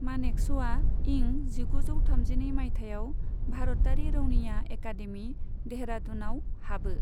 मानेकश'आ इं जिगुजौ थामजिनै मायथाइयाव भारतारि रौनिया एकादेमि, देहरादुनाव हाबो।